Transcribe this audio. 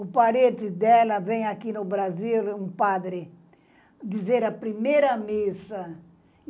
O parente dela vem aqui no Brasil, um padre, dizer a primeira missa.